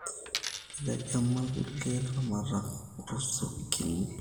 Kietegema irkulie laramatak ruzukini